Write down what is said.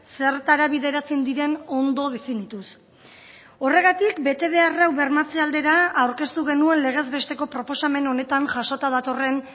zertara bideratzen diren ondo definituz horregatik betebehar hau bermatze aldera aurkeztu genuen legez besteko proposamen honetan jasota datorren